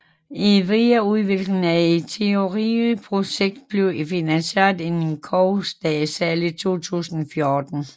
Videreudviklingen af Ethereum projektet blev finansieret af et crowdsale i 2014